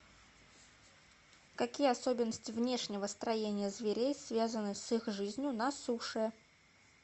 какие особенности внешнего строения зверей связаны с их жизнью на суше